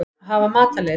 Að hafa matarlyst.